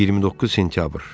29 sentyabr.